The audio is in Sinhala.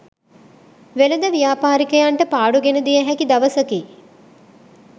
වෙළෙඳ ව්‍යාපාරිකයන්ට පාඩු ගෙන දිය හැකි දවසකි.